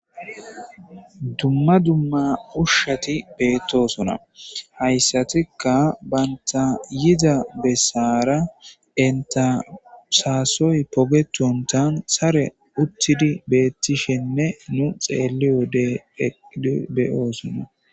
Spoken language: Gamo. Dumma dumma ushshati beettosona hayssatikka banta yiza bessaara entasaasoy pogetontan sare uttidi beettishenne nu xeelliyo dedbeyoosona.